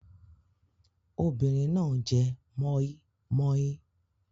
Obìnrin náà jẹ mọ́í-mọ́í.